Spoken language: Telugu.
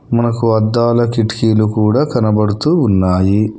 మనకు అద్దాల కిటికీ లు కూడా కనబడుతూ ఉన్నాయి.